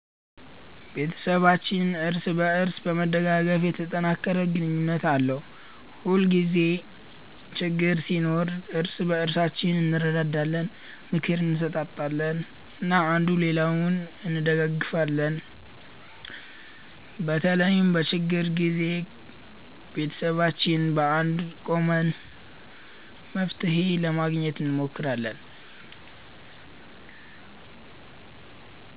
ቤተሰባችን እርስ በእርስ በመደጋገፍ የተጠናከረ ግንኙነት አለው። ሁልጊዜ ችግኝ ሲኖር እርስ በእርሳችን እንረዳዳለን፣ ምክር እንሰጣጣለን እና አንዱ ሌላውን እንደጋገፊለን። በተለይም በችግር ጊዜ ቤተሰባችን በአንድነት ቆመን መፍትሄ ለማግኘት እንሞክራለን።